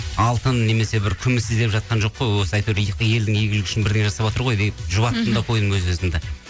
алтын немесе бір күміс іздеп жатқан жоқ қой осы әйтеуір елдің игілігі үшін бірдеңе жасап жатыр ғой деп жұбаттым да қойдым өз өзімді